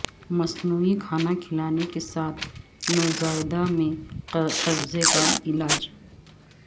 مصنوعی کھانا کھلانے کے ساتھ نوزائیدہ میں قبضے کا علاج